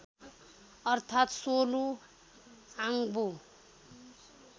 अर्थात् सोलु आङबु